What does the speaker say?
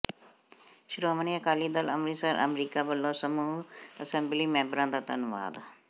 ਸ਼੍ਰੋਮਣੀ ਅਕਾਲੀ ਦਲ ਅੰਮ੍ਰਿਤਸਰ ਅਮਰੀਕਾ ਵਲੋਂ ਸਮੂਹ ਐਸੰਬਲੀ ਮੈਂਬਰਾਂ ਦਾ ਧੰਨਵਾਦ